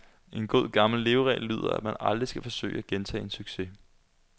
En god, gammel leveregel lyder, at man aldrig skal forsøge at gentage en succes.